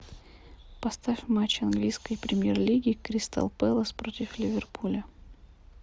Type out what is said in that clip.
поставь матч английской премьер лиги кристал пэлас против ливерпуля